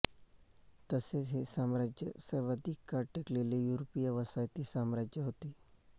तसेच हे साम्राज्य सर्वाधिक काळ टिकलेले युरोपीय वसाहती साम्राज्य होते